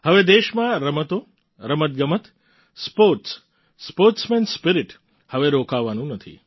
હવે દેશમાં રમતો રમતગમત સ્પોર્ટ્સ સ્પોર્ટ્સમેન સ્પિરિટ હવે રોકાવાનું નથી